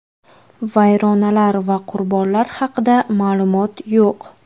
Vayronalar va qurbonlar haqida ma’lumot yo‘q.